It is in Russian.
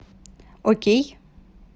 окей